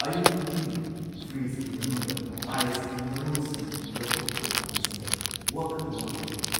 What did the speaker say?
ꯑꯌꯨꯛ ꯈꯨꯗꯤꯡꯒꯤ ꯐ꯭ꯔꯤꯖꯀꯤ ꯃꯅꯨꯡꯗ ꯑꯥꯏꯁꯀꯤ ꯃꯔꯣꯜꯁꯤꯡ ꯂꯧꯊꯣꯛꯄ ꯇꯥꯕꯁꯤꯗ ꯋꯥꯈꯜ ꯋꯥꯕ ꯑꯣꯏꯍꯜꯂꯤ꯫